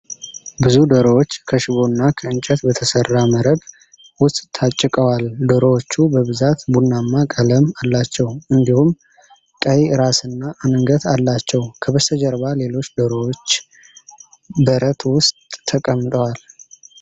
ብዙ ዶሮዎች ከሽቦ እና ከእንጨት በተሰራ መረብ ውስጥ ታጭቀዋል። ዶሮዎቹ በብዛት ቡናማ ቀለም አላቸው፤ እንዲሁም ቀይ ራስና አንገት አላቸው። ከበስተጀርባ ሌሎች ዶሮዎች በረት ውስጥ ተቀምጠዋል።